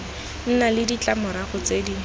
nna le ditlamorago tse di